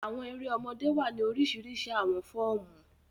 Àwọn èrè ọmọdé wa ni orisirisi awọn fọọmu.